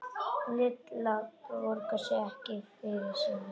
Lilla borgar ekki fyrir sína.